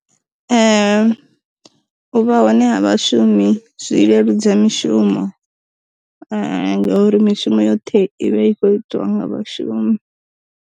U vha hone ha vha shumi zwi leludza mishumo ngauri mishumo yoṱhe ivha i kho itiwa nga vha shumi.